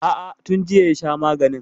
A'a, tun jiya ya sha maganin.